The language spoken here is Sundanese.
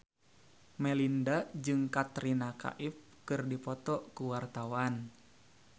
Melinda jeung Katrina Kaif keur dipoto ku wartawan